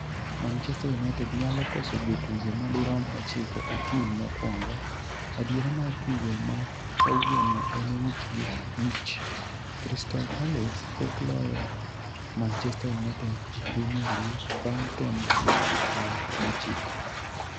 Manchester United nyalo koso jotugo madirom ochiko e tim mokwongo 'Adiera mar tugo ma kawuono en wich gi wich. Crystal Palace pok loyo Manchester United e Premier League bang' temo nyadi par gochiko